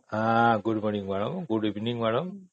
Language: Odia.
ହଁ good morning କଣ Good Evening କଣ